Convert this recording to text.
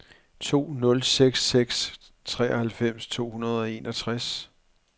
to nul seks seks treoghalvfems to hundrede og enogtres